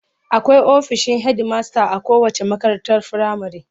Akwai ofishin hedimasta a kowacce makarantar firamare.